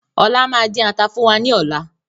Ọlá máa din ata fún wa ní ọ̀la